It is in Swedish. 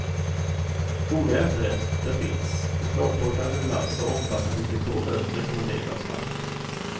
Goda efterrätter finns, chokladtårtan med glass och omfattande dekorer rekommenderas varmt.